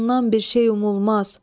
Ondan bir şey umulmaz.